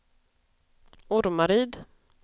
Ormaryd